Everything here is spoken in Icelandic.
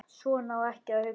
Svona á ekki að hugsa.